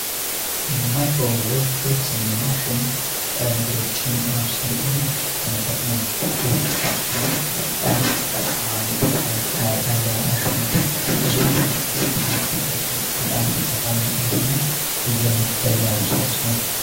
ማይክሮዌ ቤት ሰኞ ማሺን ነግሮችን አኤም እንደጠቀመበት ነው የህሻ ዳንድ ጠቃም የጠቀንታ ያለው ማሽኖ ብዙን ያደለጥ ነገር ግዳን ጠቃ የሆንን እየመገደገ አጥሳውስ ነው፡፡